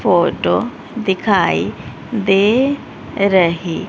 photo दिखाई दे रही--